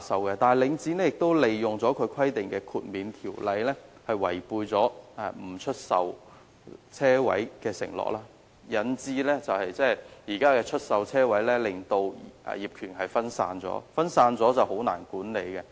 可是，領展最後竟利用規定中的豁免條款，違背其不出售車位的承諾，以致現時車位業權分散，變得難以管理。